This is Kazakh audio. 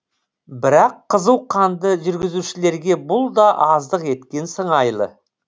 бірақ қызуқанды жүргізушілерге бұл да аздық еткен сыңайлы